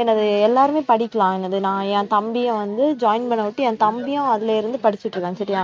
என்னது எல்லாருமே படிக்கலாம் என்னது நான் என் தம்பியை வந்து join பண்ண விட்டு என் தம்பியும் அதுல இருந்து படிச்சுட்டு இருக்கான் சரியா